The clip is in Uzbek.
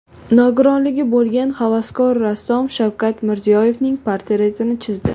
Nogironligi bo‘lgan havaskor rassom Shavkat Mirziyoyevning portretini chizdi .